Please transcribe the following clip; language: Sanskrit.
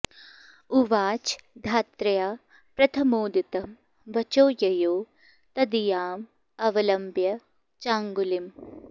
उवाच धात्र्या प्रथमोदितं वचो ययौ तदीयां अवलम्ब्य चाङ्गुलिं